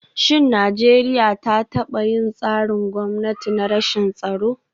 Shin Najeriya ta taba yin tsarin gwamnati na rashin tsaro?